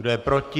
Kdo je proti?